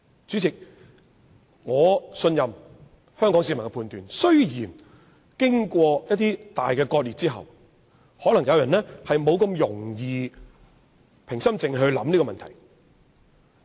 主席，我信任香港市民的判斷，儘管經過一些大割裂後，有人可能難以平心靜氣考慮此問題。